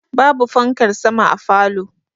Ba bu fankar sama a falow